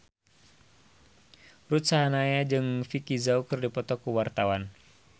Ruth Sahanaya jeung Vicki Zao keur dipoto ku wartawan